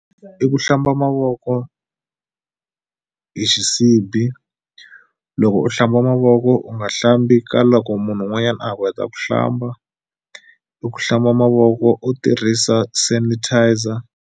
I ku hlamba mavoko hi xisibi loko u hlamba mavoko u nga hlambi ka loko munhu wun'wanyani a ha ku heta ku hlamba i ku hlamba mavoko u tirhisa sanitizer.